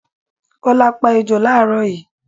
Kọ́lá pá ejò làárọ̀ yii